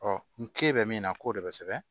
n ke bɛ min na k'o de bɛ sɛbɛn